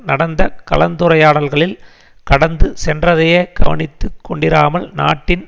நடந்த கலந்துரையாடல்களில் கடந்து சென்றதையே கவனித்து கொண்டிராமல் நாட்டின்